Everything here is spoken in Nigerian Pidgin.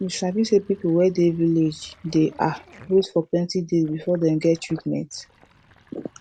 you sabi say people wey dey village dey ah wait for plenti days before dem get treatment